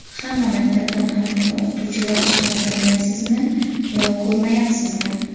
Hamma maktabdan har kuni o‘qituvchilar chiqadi, bilmaysizmi yo ko‘rmayapsizmi?